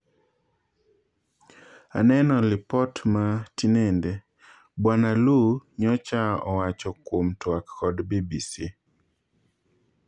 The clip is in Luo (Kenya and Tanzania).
"Aneno lipot ma tinende," Bwana Lu nyocha owach kwuom twak kod BBC.